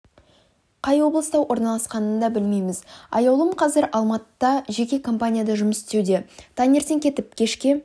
қай облыста орналасқанын да білмейміз аяулым қазір алматыда жеке компанияда жұмыс істеуде таңертең кетіп кешке